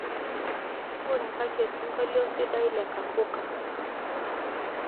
ng'urakaki osingolio sidai le kapuka